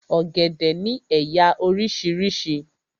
Ọ̀gẹ̀dẹ̀ ni éyá orísirísi